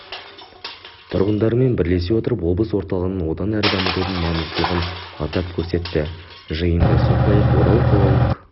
тұрғындарымен бірлесе отырып облыс орталығын одан әрі дамытудың маңыздылығын атап көрсетті жиында сондай-ақ орал қалалық